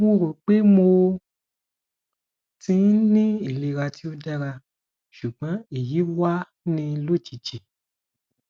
mo ro pé mo ti n ni ilera ti o dara sugbon eyi wa ni lojiji